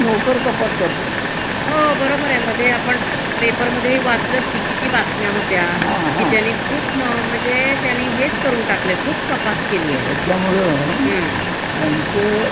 ज्याचं अकार्यक्षम आहेत, ज्यांच काम नीट नाहीये, हं. आणि वारीष्टांची मर्जी जे संभाळूशकत नाहीत, हं. अश्या लोकांना